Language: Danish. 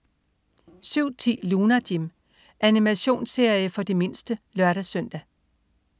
07.10 Lunar Jim. Animationsserie for de mindste (lør-søn)